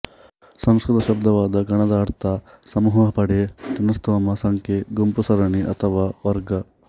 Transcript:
ಸಂಸ್ಕೃತ ಶಬ್ದವಾದ ಗಣದ ಅರ್ಥ ಸಮೂಹ ಪಡೆ ಜನಸ್ತೋಮ ಸಂಖ್ಯೆ ಗುಂಪು ಸರಣಿ ಅಥವಾ ವರ್ಗ